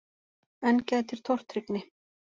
Enn gætir tortryggni.